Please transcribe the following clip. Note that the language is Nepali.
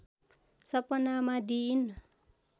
सपनामा दिइन्